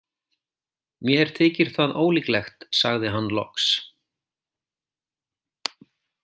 Mér þykir það ólíklegt sagði hann loks.